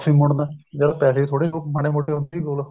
ਮੁੜਨ ਜਦ ਪੈਸੇ ਵੀ ਥੋੜੇ ਬਹੁਤ ਮਾੜੇ ਮੋਟੇ ਹੈਗੇ ਸੀ ਕੋਲ